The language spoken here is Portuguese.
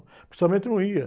O não ia.